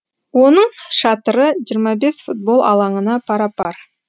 оның шатыры жиырма бес футбол алаңына пара пар